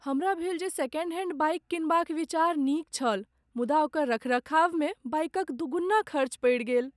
हमरा भेल जे सेकेंड हैंड बाइक किनबाक विचार नीक छल मुदा ओकर रखरखावमे बाइकक दूगुन्ना खर्च पड़ि गेल।